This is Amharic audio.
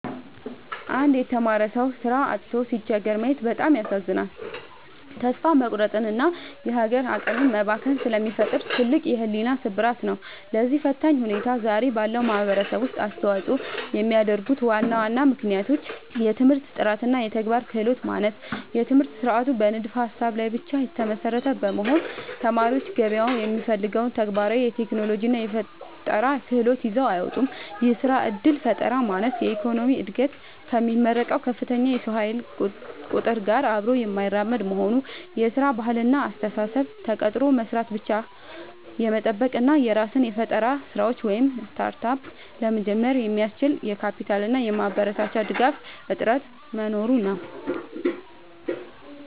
አንድ የተማረ ሰው ሥራ አጥቶ ሲቸገር ማየት በጣም ያሳዝናል፤ ተስፋ መቁረጥንና የሀገር አቅም መባከንን ስለሚፈጥር ትልቅ የሕሊና ስብራት ነው። ለዚህ ፈታኝ ሁኔታ ዛሬ ባለው ማኅበረሰብ ውስጥ አስተዋፅኦ የሚያደርጉ ዋና ዋና ምክንያቶች፦ የትምህርት ጥራትና የተግባር ክህሎት ማነስ፦ የትምህርት ሥርዓቱ በንድፈ-ሀሳብ ላይ ብቻ የተመሰረተ በመሆኑ፣ ተማሪዎች ገበያው የሚፈልገውን ተግባራዊ የቴክኖሎጂና የፈጠራ ክህሎት ይዘው አይወጡም። የሥራ ዕድል ፈጠራ ማነስ፦ የኢኮኖሚው ዕድገት ከሚመረቀው ከፍተኛ የሰው ኃይል ቁጥር ጋር አብሮ የማይራመድ መሆኑ። የሥራ ባህልና አስተሳሰብ፦ ተቀጥሮ መሥራትን ብቻ የመጠበቅ እና የራስን የፈጠራ ሥራዎች (Startup) ለመጀመር የሚያስችል የካፒታልና የማበረታቻ ድጋፍ እጥረት መኖሩ ነው።